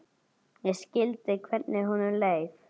Ég skildi hvernig honum leið.